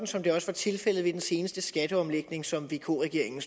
som det også var tilfældet ved den seneste skatteomlægning som vk regeringen